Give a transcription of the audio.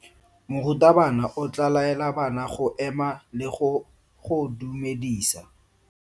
Morutabana o tla laela bana go ema le go go dumedisa.